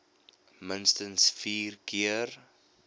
minstens vier keer